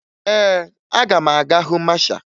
Ee, aga m aga hụ masha